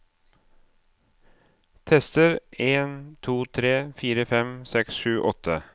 Tester en to tre fire fem seks sju åtte